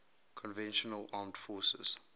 conventional armed forces